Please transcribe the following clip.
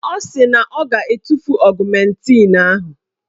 Ọ sị na ọ ga-etufu ọgụmentịn ahụ.